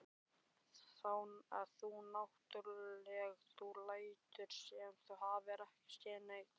Þú náttúrlega. þú lætur sem þú hafir ekki séð neitt!